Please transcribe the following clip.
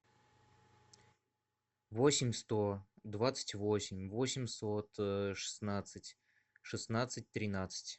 восемь сто двадцать восемь восемьсот шестнадцать шестнадцать тринадцать